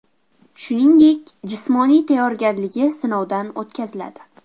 Shuningdek, jismoniy tayyorgarligi sinovdan o‘tkaziladi.